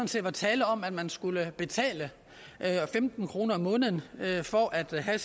set var tale om at man skulle betale femten kroner om måneden for at have